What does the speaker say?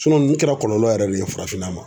ninnu kɛra kɔlɔlɔ yɛrɛ de ye farafinna ma.